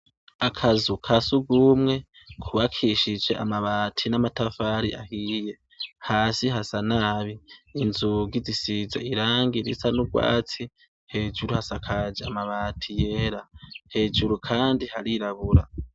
Akazu kasugumwe kubakishij' amabati n' amatafar'ahiye, hasi hasa nabi, inzugi zisiz' irangi risa n'ugwatsi, hejuru hasakaj' amabati yera, hejuru kandi harirabura.